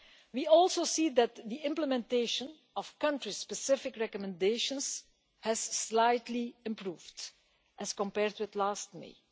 We also see that the implementation of country specific recommendations has slightly improved as compared with last May.